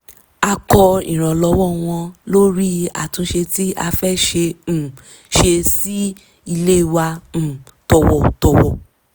a kọ ìrànlọ́wọ́ wọn lórí àtúnṣe tí a fẹ́ um ṣe sí ilé wa um tọ̀wọ̀tọ̀wọ̀